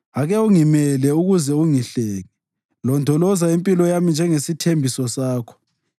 Ake ungimele ukuze ungihlenge; londoloza impilo yami njengesithembiso sakho.